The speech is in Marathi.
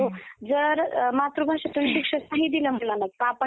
जर मातृभाषेतून शिक्षण नाही दिलं मुलांना. आपण